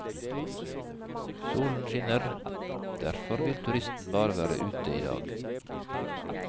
Solen skinner, derfor vil turisten bare være ute i dag.